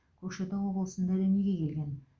көкшетау облысында дүниеге келген